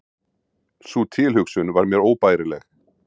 Sú tilhugsun var mér óbærileg.